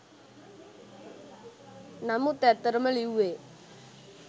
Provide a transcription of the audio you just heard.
නමුත් ඇත්තටම ලිව්වේ